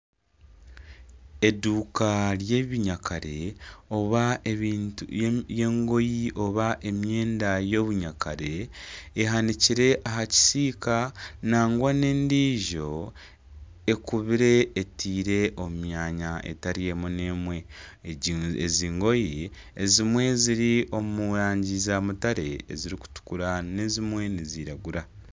Eduuka ry'ebinyakare oba ebintu by'engoye oba emyenda y'obunyakare ehanikire aha kisiika nangwa n'endiijo ekubire eteire omu myanya etari emwe n'emwe ezi ngoye ezimwe ziri omu rangi zamutare, ezirikutukura n'ezimwe niziragura.